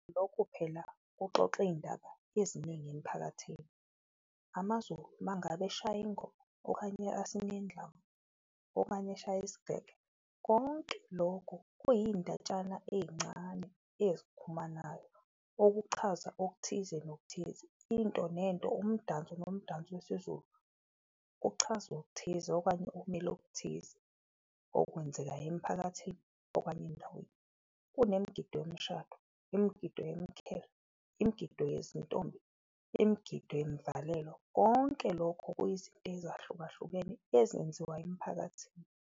Lokhu phela kuxoxa iyindaba eziningi emphakathini, amaZulu mangabe eshaya ingoma, okanye asine indlamu, okanye eshaya isigege. Konke lokho kuyiyindatshana eyincane ezikhumanayo, okuchaza okuthize nokuthize, into nento, umdanso nomdanso wesiZulu kuchaza okuthize okanye okumele okuthize okwenzekayo emiphakathini okanye endaweni. Kunemgido yomshado, imigido , imigido yezintombi, imigido yemvalelo, konke lokho kuyizinto ezahlukahlukene ezenziwayo emphakathini.